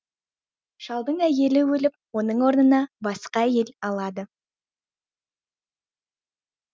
шалдың әйелі өліп оның орнына басқа әйел алады